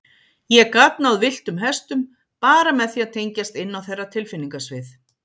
Ég gat náð villtum hestum, bara með því að tengjast inn á þeirra tilfinningasvið.